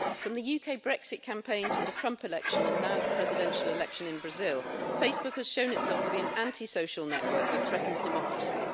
From the UK Brexit campaign to the Trump election and now the presidential election in Brazil, Facebook has shown itself to be an anti social network that threatens democracy.